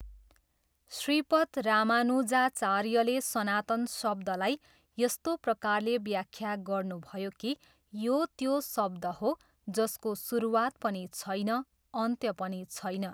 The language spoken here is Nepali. श्रीपद रामानुजाचार्यले सनातन शब्दलाई यस्तो प्रकारले व्याख्या गर्नुभयो कि यो त्यो शब्द हो जसको सुरुवात पनि छैन, अन्त्य पनि छैन।